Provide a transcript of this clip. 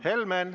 Helmen!